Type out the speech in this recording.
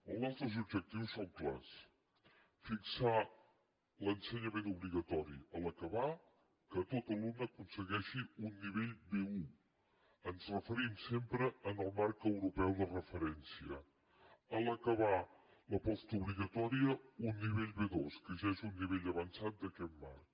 els nostres objectius són clars fixar a l’ensenyament obligatori a l’acabar que tot alumne aconsegueixi un nivell b1 ens referim sempre al marc europeu de referència a l’acabar la postobligatòria un nivell b2 que ja és un nivell avançat d’aquest marc